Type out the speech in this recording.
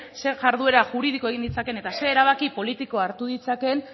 zer jarduera juridiko egin ditzaken eta zein erabaki politiko hartu ditzakeen